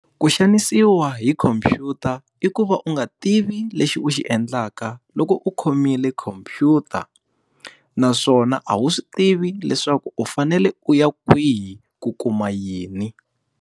Ku xanisiwa hi khomphyuta i ku va u nga tivi lexi u xi endlaka loko u khomile khomphyuta. Naswona a wu swi tivi leswaku u fanele u ya kwihi ku kuma yini.